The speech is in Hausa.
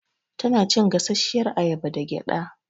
Tana cin gasashiyar ayaba da gƴaɗa